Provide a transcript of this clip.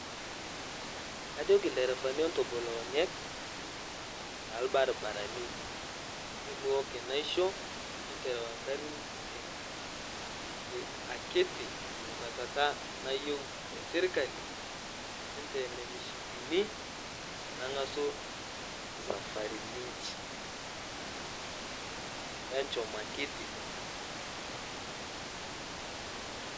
Kajoki lderevani entobol onyek talbarbaranii emuwok naishoo interau nkarin ten akitii tenkwetataa nayeu sirkalii, enteen mshipinii teneng'asuu safarinii inshi. Enshom akitii.